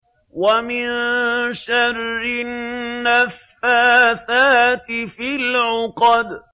وَمِن شَرِّ النَّفَّاثَاتِ فِي الْعُقَدِ